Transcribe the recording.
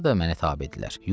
Bunlar da mənə tabedirlər.